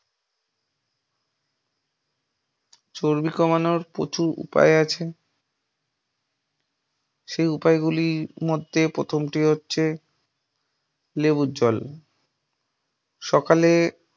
চর্বি কমানোর প্রচুর উপায় আছে, সেই উপায়ে গুলির মধ্যে প্রথমটি হচ্ছে লেবুর জল। সকালে